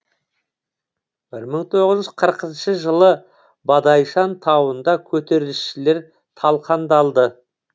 бір мың тоғыз жүз қырқыншы жылы бадайшан тауында көтерілісшілер талқандалды